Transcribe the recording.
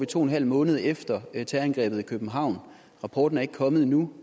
to en halv måned efter terrorangrebet i københavn rapporten er ikke kommet endnu